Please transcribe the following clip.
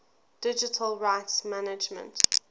digital rights management